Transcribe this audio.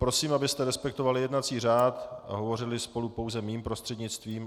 Prosím, abyste respektovali jednací řád a hovořili spolu pouze mým prostřednictvím.